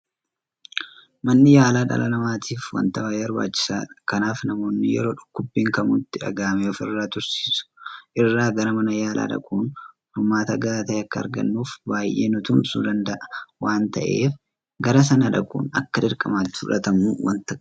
Manni yaalaa dhala namaatiif waanta baay'ee barbaachisaadha. Kanaaf namoonni yeroo dhukkubbiin kamuu itti dhagahame ofirra tursiisuu irra gara mana yaalaa dhaquun furmaata gahaa ta'e akka argannuuf baay'ee nutumsuu danda'a waanta ta'eef gara sana dhaquun akka dirqamaatti fudhatamuu waanta qabudha.